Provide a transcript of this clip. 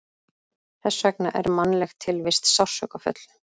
Þess vegna er mannleg tilvist sársaukafull.